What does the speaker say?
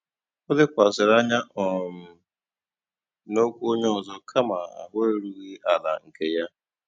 Ó lékwàsị̀rị́ ányá um n'ókwú ónyé ọ́zọ́ kámà áhụ̀ érúghị́ àlà nkè yá.